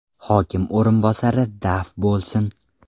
hokim o‘rinbosari daf bo‘lsin!